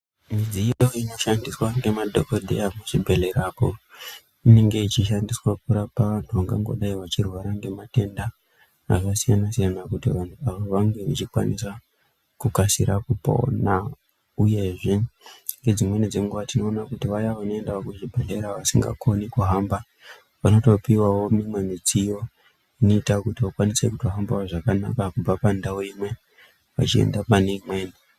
Midziyo inoshandiswa ngemadhokoteya kuzvibhedhlera koo inenge ichishandiswa kurapa wandu wangangodai wachirwara ngematenda akasiyana siyana kuti vandu Ava vange vechikwanisa kukasira kupona uyezvee nedzimweni dzenguva tinoona kuti vayaa vanoendawo kuzvibhedhlera vasingakoni kuhamba vanotopiwawo imweni midziyoo inoita kuti vakwanise kutohambawoo zvakanaka kubva pandawu imwe vachienda pane imweni.